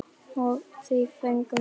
Og því fögnum við.